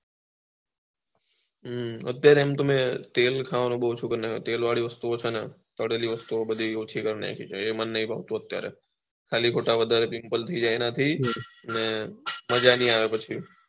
હમમ અત્યારે મેં તો એમ તેલ ખવાનું ઓછું કરી નાખેલી તેલ વાડી વસ્તુઓં છેને તળેલી વસ્તુઓં બધી ઓછી કરી નાખેલી છે એ મને નથી ગમતું અત્યારે ખાલી ખોટું વધારે પીમ્પ્લ થઇ જાય એના થી અને મજા નહી આવે પછી